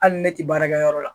Hali ne tɛ baarakɛ yɔrɔ la.